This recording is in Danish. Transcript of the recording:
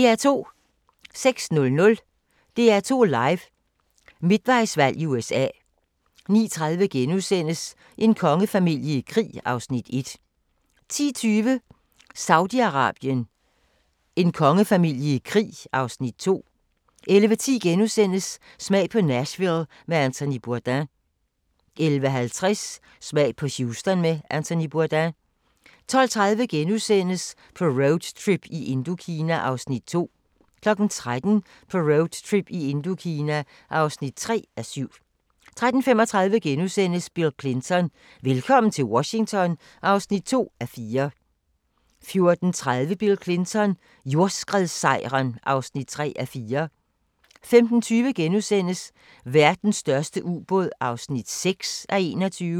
06:00: DR2 Live: Midtvejsvalg i USA 09:30: En kongefamilie i krig (Afs. 1)* 10:20: Saudi-Arabien: En kongefamilie i krig (Afs. 2) 11:10: Smag på Nashville med Anthony Bourdain * 11:50: Smag på Houston med Anthony Bourdain 12:30: På roadtrip i Indokina (2:7)* 13:00: På roadtrip i Indokina (3:7) 13:35: Bill Clinton: Velkommen til Washington (2:4)* 14:30: Bill Clinton: Jordskredssejren (3:4) 15:20: Verdens største ubåd (6:21)*